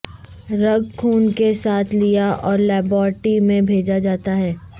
رگ خون کے ساتھ لیا اور لیبارٹری میں بھیجا جاتا ہے